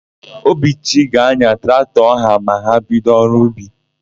Obichi ga-anya traktọ áhụ̀ ma ha bido ọrụ n'ubi.